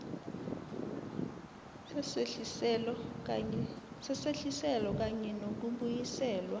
sesehliselo kanye nokubuyiselwa